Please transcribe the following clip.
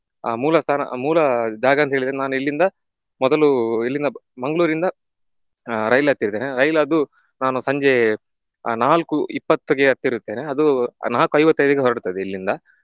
ಆಹ್ ಮೂಲಸ್ಥಾನ ಮೂಲ ಜಾಗ ಅಂತಾ ಹೇಳಿದ್ರೆ ನಾನು ಇಲ್ಲಿಂದ ಮೊದಲು ಇಲ್ಲಿಂದ ಮಂಗಳೂರಿಂದ ಆಹ್ ರೈಲು ಹತ್ತಿರ್ತೇನೆ ರೈಲು ಅದು ನಾನು ಸಂಜೆ ಆ ನಾಲ್ಕು ಇಪ್ಪತ್ತಿಗೆ ಹತ್ತಿರುತ್ತೇನೆ ಅದು ನಾಕು ಐವತ್ತೈದಕ್ಕೆ ಹೊರಡ್ತದೆ ಇಲ್ಲಿಂದ